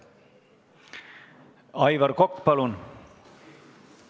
Aivar Kokk, palun!